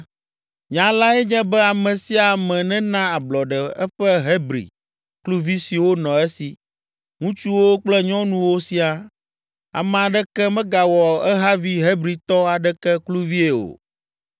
Nya lae nye be ame sia ame nena ablɔɖe eƒe Hebri kluvi siwo nɔ esi, ŋutsuwo kple nyɔnuwo siaa. Ame aɖeke megawɔ ehavi Hebritɔ aɖeke kluvie o.